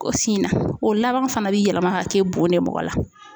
ko fin na o laban fana bɛ yɛlɛma ka kɛ bon de mɔgɔ la.